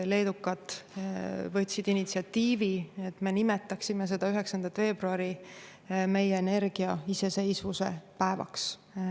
Leedukad võtsid initsiatiivi, et me nimetaksime seda 9. veebruari meie energiaiseseisvuse päevaks.